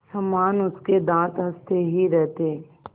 समान उसके दाँत हँसते ही रहते